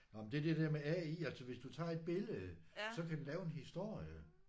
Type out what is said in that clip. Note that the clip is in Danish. Nåh men det er det der med AI altså hvis du tager et billede så kan den lave en historie